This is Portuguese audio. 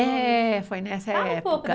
É, foi nessa época.ala um pouco...